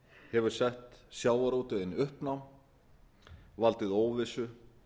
hefur sett sjávarútveginn í uppnám valdið óvissu